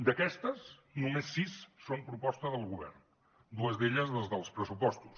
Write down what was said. d’aquestes només sis són proposta del govern dues d’elles les dels pressupostos